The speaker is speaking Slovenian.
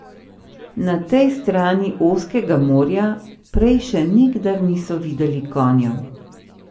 Na tej strani ozkega morja prej še nikdar niso videli konjev.